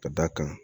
Ka d'a kan